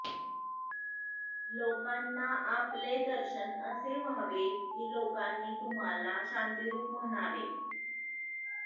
लोकांना आपले दर्शन असे व्हावे की लोकांनी तुम्हाला शांतीरूप म्हणावे